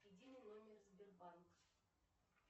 единый номер сбербанк